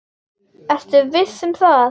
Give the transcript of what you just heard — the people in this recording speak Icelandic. Ertu nú viss um það?